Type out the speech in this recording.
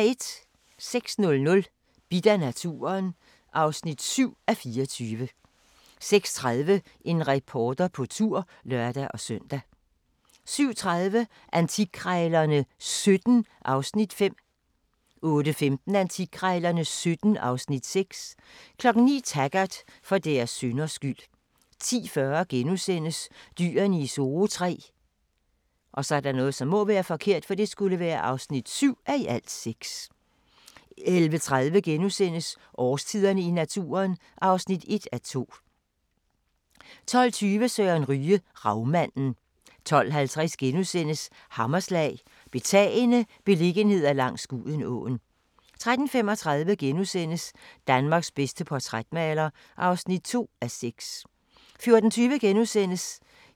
06:00: Bidt af naturen (7:24) 06:30: En reporter på tur (lør-søn) 07:30: Antikkrejlerne XVII (Afs. 5) 08:15: Antikkrejlerne XVII (Afs. 6) 09:00: Taggart: For deres synders skyld 10:40: Dyrene I Zoo III (7:6)* 11:30: Årstiderne i naturen (1:2)* 12:20: Søren Ryge: Ravmanden 12:50: Hammerslag – Betagende beliggenheder langs Gudenåen * 13:35: Danmarks bedste portrætmaler (2:6)*